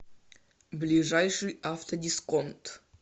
ближайший автодисконт